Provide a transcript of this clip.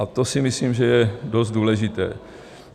A to si myslím, že je dost důležité.